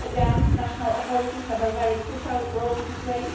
Here again, national authorities have a very crucial role to play.